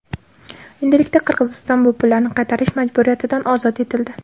Endilikda Qirg‘iziston bu pullarni qaytarish majburiyatidan ozod etildi.